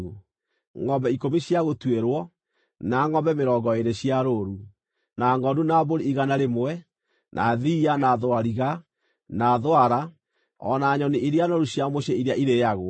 ngʼombe ikũmi cia gũtuĩrwo, na ngʼombe mĩrongo ĩĩrĩ cia rũũru, na ngʼondu na mbũri igana rĩmwe, na thiiya, na thwariga, na thwara, o na nyoni iria noru cia mũciĩ iria irĩĩagwo.